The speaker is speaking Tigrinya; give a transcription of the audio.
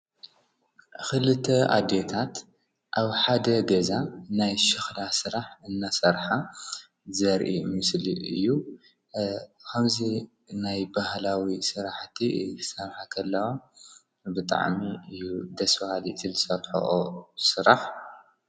ክለተ ኣዴታት ኣብ ሓደ ገዛ ናይ ሸክላ ስራሕ እናሰርሓ ዘርኢ ምስሊ እዩ፡፡ ከምዚ ናይ ባህላዊ ስራሕቲ ክሰርሓ ከለዋ ብጣዕሚ እዩ ደስ በሃሊ እዩ እቲ ዝሰርሐኦ ስራሕ፡፡